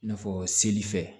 I n'a fɔ seli fɛ